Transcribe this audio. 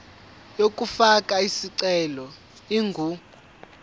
yokufaka isicelo ingu